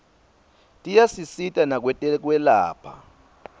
tiyasisita nakwetekwelapha